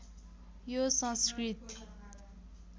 यो संस्कृत